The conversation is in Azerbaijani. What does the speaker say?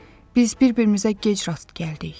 Biz bir-birimizə gec rast gəldik.